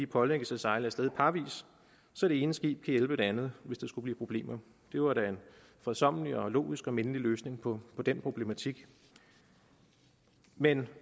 pålægges at sejle af sted parvis så det ene skib kan hjælpe det andet hvis der skulle blive problemer det var da en fredsommelig og logisk og mindelig løsning på den problematik men